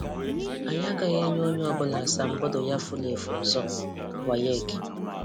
Ànyị agaghị enye ònye ọbụla asamobodo ya furu efu ọzọ - WAEC.